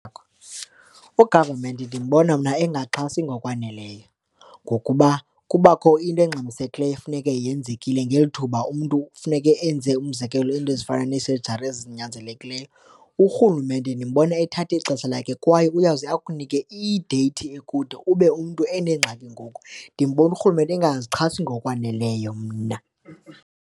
U-government ndimbona mna engaxhasi ngokwaneleyo ngokuba kubakho into engxamisekileyo funeke yenzekile ngeli thuba umntu funeke enze umzekelo, iinto ezifana neesejari ezinyanzelekileyo. Urhulumente ndimbona ethatha ixesha lakhe kwaye uyawuze akunike ideyithi ekude ube umntu enengxaki ngoku, ndimbona urhulumente engazixhasi ngokwaneleyo mna.